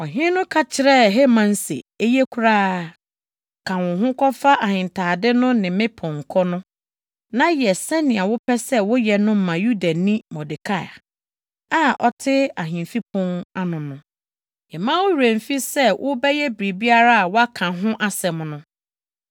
Ɔhene no ka kyerɛɛ Haman se, “Eye koraa! Ka wo ho kɔfa ahentade no ne me pɔnkɔ no, na yɛ sɛnea wopɛ sɛ woyɛ no ma Yudani Mordekai a ɔte ahemfi pon ano no. Mma wo werɛ mmfi sɛ wobɛyɛ biribiara a woaka ho asɛm no.”